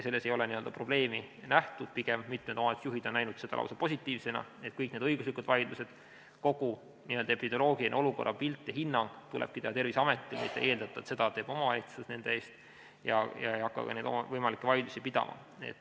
Selles ei ole probleemi nähtud, pigem on mitmed omavalitsusjuhid näinud seda lausa positiivsena, et kõik need õiguslikud vaidlused tulebki pidada, kogu epidemioloogilise olukorra pilt ja hinnang tulebki teha ja anda Terviseametil, mitte ei eeldata, et seda teeb omavalitsus nende eest, ja omavalitsus ei pea hakkama võimalikke vaidlusi pidama.